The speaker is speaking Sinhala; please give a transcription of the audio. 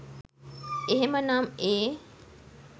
එහෙමනම් ඒ